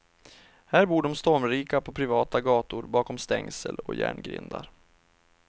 Här bor de stormrika på privata gator bakom stängsel och järngrindar.